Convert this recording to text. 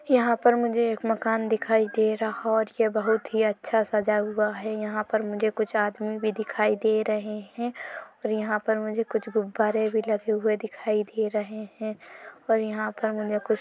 यहाँ पर मुझे एक मकान दिखाई दे रहा और ये बहुत अच्छा ही सजा हुआ है यहाँ पर मुझे कुछ आदमी भी दिखाई दे रहै हैं और यहाँ पर मुझे कुछ गुब्बारे भी लगे हुए दिखाई दे रहै हैं और यहाँ पर मुझे कुछ--